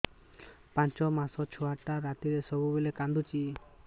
ପାଞ୍ଚ ମାସ ଛୁଆଟା ରାତିରେ ସବୁବେଳେ କାନ୍ଦୁଚି